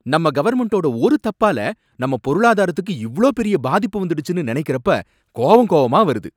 நம்ம கவர்மெண்ட்டோட ஒரு தப்பால நம்ம பொருளாதாரத்துக்கு இவ்ளோ பெரிய பாதிப்பு வந்துடுச்சுனு நினைக்கிறப்ப கோவம் கோவமா வருது.